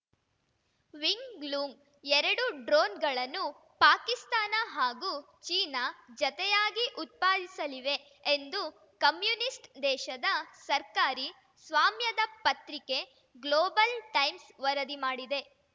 wing ಲೂಂಗ್‌ಎರಡು ಡ್ರೋನ್‌ಗಳನ್ನು ಪಾಕಿಸ್ತಾನ ಹಾಗೂ ಚೀನಾ ಜತೆಯಾಗಿ ಉತ್ಪಾದಿಸಲಿವೆ ಎಂದು ಕಮ್ಯುನಿಸ್ಟ್‌ ದೇಶದ ಸರ್ಕಾರಿ ಸ್ವಾಮ್ಯದ ಪತ್ರಿಕೆ ಗ್ಲೋಬಲ್‌ ಟೈಮ್ಸ್‌ ವರದಿ ಮಾಡಿದೆ